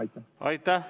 Aitäh!